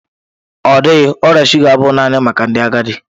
Ọ dịghị, ọrịa shụga abụghị naanị maka ndị agadi.